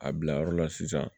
A bila yɔrɔ la sisan